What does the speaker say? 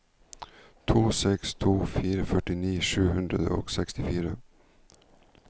to seks to fire førtini sju hundre og sekstifire